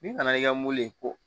N'i nana i ka mobili ko